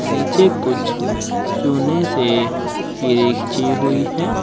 नीचे कुछ चूने से किरे खींची हुई है।